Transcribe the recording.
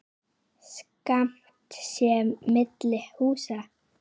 Skammt sé milli húsa.